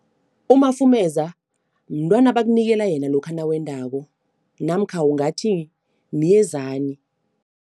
Umafumeza mntwana abakunikela yena lokha nawendako namkha ungathi myezani.